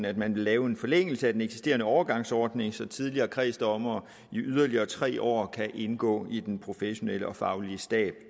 at man vil lave en forlængelse af den eksisterende overgangsordning så tidligere kredsdommere i yderligere tre år kan indgå i den professionelle og faglige stab